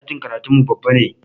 Ɗakin karatun mu babba ne